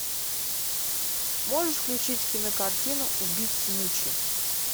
можешь включить кинокартину убить смучи